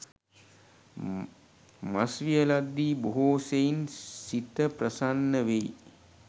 මස් වියලද්දී බොහෝ සෙයින් සිත ප්‍රසන්න වෙයි.